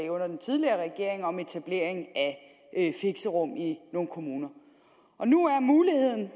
under den tidligere regering om etablering af fixerum i nogle kommuner og nu er muligheden